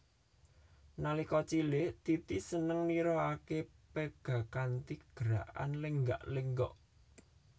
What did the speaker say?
Nalika cilik Titi seneng nirokaké pega kanthi gerakan lenggak lenggok